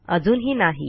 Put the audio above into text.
अजूनही नाही